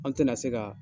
An tɛna se ka